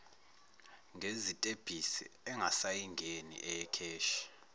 ngezitebhisi engasayingeni eyekheshi